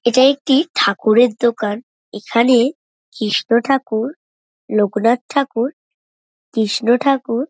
এটা একটি ঠাকুরের দোকান এখানে কৃষ্ণ ঠাকুর লোকনাথ ঠাকুর কৃষ্ণ ঠাকুর।